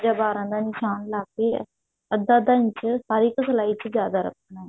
ਯਾ ਬਾਰਾਂ ਦਾ ਨਿਸ਼ਾਨ ਲਗਾ ਕਿ ਅੱਧਾ ਅੱਧਾ ਇੰਚ ਹਰ ਇੱਕ ਸਲਾਈ ਚ ਜਿਆਦਾ ਰੱਖਣਾ